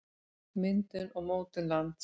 myndun og mótun lands